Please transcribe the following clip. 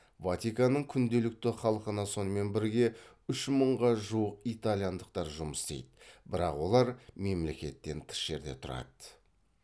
ватиканның күнделікті халқына сонымен бірге үш мыңға жуық итальяндықтар жұмыс істейді бірақ олар мемлекеттен тыс жерде тұрады